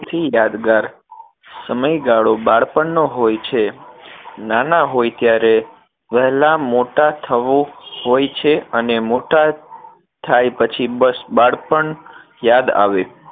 થી યાદગાર સમયગાળો બાળપણ નો હોય છે નાના હોય ત્યારે વહેલા મોટા થવું હોય છે અને મોટાં થાય પછી બસ બાળપણ યાદ આવે